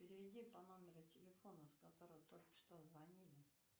переведи по номеру телефона с которого только что звонили